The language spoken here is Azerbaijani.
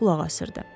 qulaq asırdı.